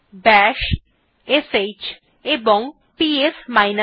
বাশ sh এবং PS f